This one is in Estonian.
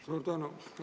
Suur tänu!